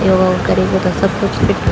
योगा कैरिक सब कुछ फिट --